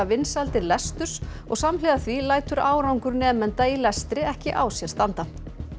vinsældir lesturs og samhliða því lætur árangur nemenda í lestri ekki á sér standa